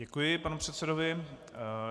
Děkuji panu předsedovi.